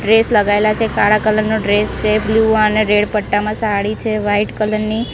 Dress લગાઇલા છે કાળા કલર નો ડ્રેસ છે બ્લુ અને રેડ પટ્ટામા સાડી છે વ્હાઇટ કલર ની.